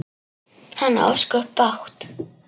Hann á ósköp bágt.